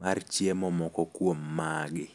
mar chiemo moko kuom magi.